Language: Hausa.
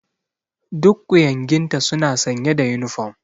Duk ƙuyanginta suna sanye da uniform.